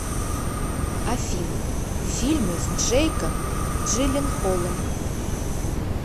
афина фильмы с джейком джиленхолом